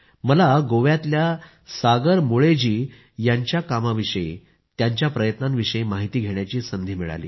मला गोव्यातल्या सागर मुळे जी यांच्या कामाविषयी त्यांच्या प्रयत्नांविषयी माहिती घेण्याची संधी मिळाली